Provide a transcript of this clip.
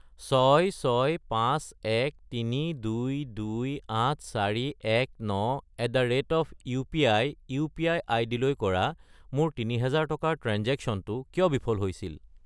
66513228419@upi UPI. আইডিলৈ কৰা মোৰ 3000 টকাৰ ট্ৰেঞ্জেক্শ্য়নটো কিয় বিফল হৈছিল?